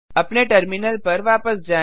अपने टर्मिनल पर वापस जाएँ